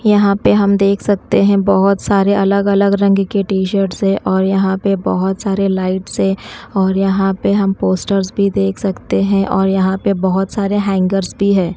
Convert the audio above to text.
यहाँ पे हम देख सकते है बहोत सारे अलग -अलग रंग के टी- शर्ट्स है और यहाँ पे बहोत सारे लाइट्स है और यहाँ पे हम पोस्टर्स भी देख सकते है और यहाँ पे बहोत सारे हैंगर्स भी हैं।